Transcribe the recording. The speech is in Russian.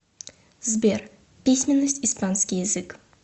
сбер письменность испанский язык